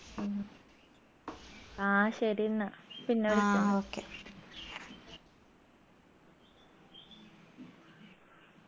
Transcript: ഉം ആ ശരി ന്ന